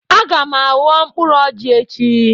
Aga m aghọ mkpụrụ ọjị echi